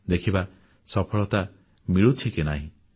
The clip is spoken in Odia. ଦେଖିବା ସଫଳତା ମିଳୁଛି କି ନାହିଁ